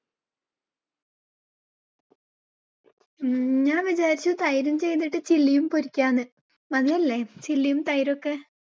ഉം ഞാൻ വിചാരിച്ചു തൈരും ചെയ്തിട്ട് chilly യും പൊരികാന്ന്. നല്ലതല്ലേ chilly യും തൈര് ഒക്കെ.